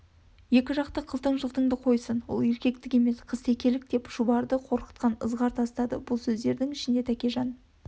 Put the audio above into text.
екіжақты қылтың-жылтынды қойсын ол еркектік емес қызтекелік деп шұбарды қорқытқан ызғар тастады бұл сөздерінің ішінде тәкежан